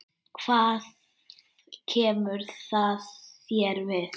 Hvað kemur það þér við?